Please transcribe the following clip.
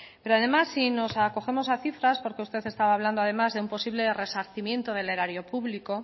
pero además si nos acogemos a cifras porque usted estaba hablando además de un posible resarcimiento del erario público